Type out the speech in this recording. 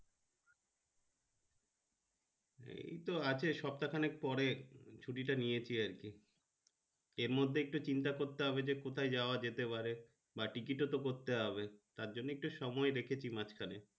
এই তো আছে সপ্তা খানিক পরে ছুটি টা নিয়েছি আর কি এর মর্ধে একটা চিন্তা করতে হবে যে কথাই যাওয়া যেতে পারে বা ticket ও তো করতে হবে তারজন্য একটা সময় দেখেছি মাজখানে।